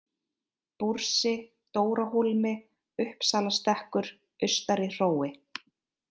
Búrsi, Dórahólmi, Uppsalastekkur, Austari-Hrói